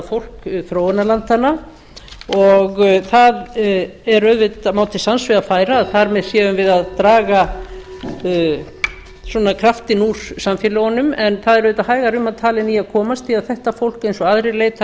fólk þróunarlandanna og það má til sanns vegar færa að þar með séum við að draga kraftinn úr samfélögunum en það er auðvitað hægar um að tala en í að komast því þetta fólk eins og aðrir leitar